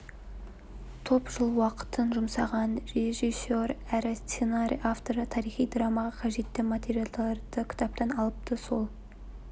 топ жыл уақытын жұмсаған режиссер әрі сценарий авторы тарихи драмаға қажетті материалдарды кітаптан алыпты сол